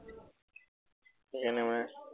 সেইকাৰনে মই